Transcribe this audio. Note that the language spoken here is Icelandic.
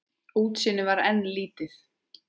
Útsýnið var enn lítið.